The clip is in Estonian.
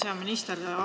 Hea minister!